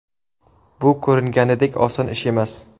Bu ko‘ringanidek oson ish emas.